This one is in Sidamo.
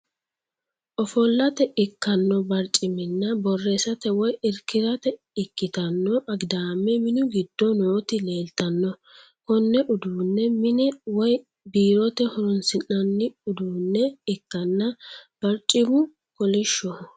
Ofollate ikkanno barciminna borreessate woy irkirateikkitanno agidaame minugiddo nooti leeltanno. Konne uduunne mine woy biirote horoonsi'nanni uduunne ikkanna barcimu kolishshoho.